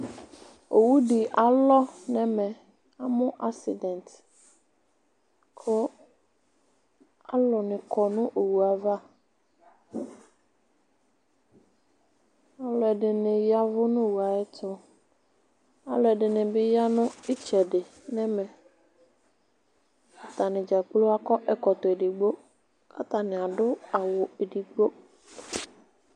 Owu di alɔ n'ɛmɛ, amu asidɛnt, ku alu ni kɔ nu owu'ava Ɔlu ɛdini yavu n'owu a'ɛtu, ɔlu'ɛdini bi ya nu tsɛdi n'ɛmɛ, atani dza gblo akɔ ɛkɔtɔ edigbo k'atani adu awu edigbo